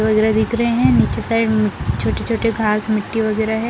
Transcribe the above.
गजरा दिख रहे हैं नीचे साइड छोटी छोटी घास मिटटी वगेरा हैं ।